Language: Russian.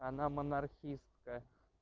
она монархичестка